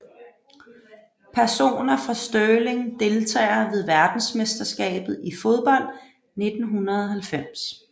Personer fra Stirling Deltagere ved verdensmesterskabet i fodbold 1990